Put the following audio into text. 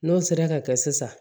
N'o sera ka kɛ sisan